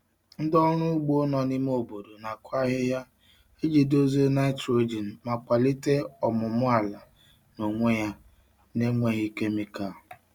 Ndị ọrụ ugbo nọ n'ime obodo na-akụ ahịhịa iji dozie nitrogen ma kwalite ọmụmụ ala n'onwe ya na-enweghị kemịkal.